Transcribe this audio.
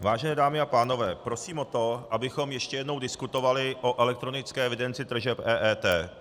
Vážené dámy a pánové, prosím o to, abychom ještě jednou diskutovali o elektronické evidenci tržeb, EET.